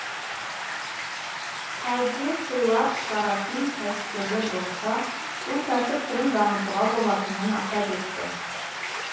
кәдесыйлар шығаратын кәсіпкерлер болса бұл кәсіп түрін дамытуға болатынын атап өтті